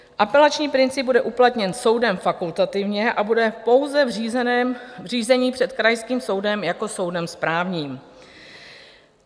Apelační princip bude uplatněn soudem fakultativně a bude pouze v řízení před krajským soudem jako soudem správním.